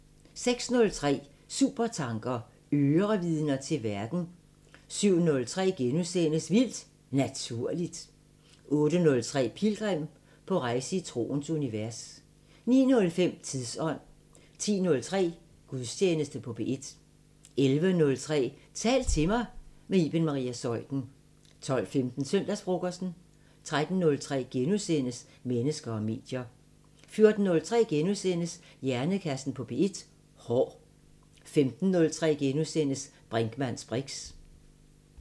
06:03: Supertanker: Ørevidner til verden 07:03: Vildt Naturligt * 08:03: Pilgrim – på rejse i troens univers 09:05: Tidsånd 10:03: Gudstjeneste på P1 11:03: Tal til mig – med Iben Maria Zeuthen 12:15: Søndagsfrokosten 13:03: Mennesker og medier * 14:03: Hjernekassen på P1: Hår * 15:03: Brinkmanns briks *